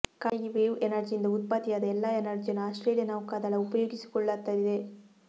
Carnegie wave ಎನರ್ಜಿಯಿಂದ ಉತ್ಪತ್ತಿಯಾದ ಎಲ್ಲಾ ಎನರ್ಜಿಯನ್ನು ಆಸ್ಟ್ರೇಲಿಯಾ ನೌಕಾದಳ ಉಪಯೋಗಿಸಿಕೊಳ್ಳತ್ತದೆ